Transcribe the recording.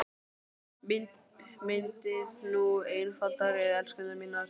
Myndið nú einfalda röð, elskurnar mínar.